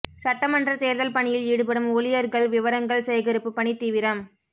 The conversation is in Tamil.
சட்டமன்ற தேர்தல் பணியில் ஈடுபடும் ஊழியர்கள் விவரங்கள் சேகரிப்பு பணி தீவிரம்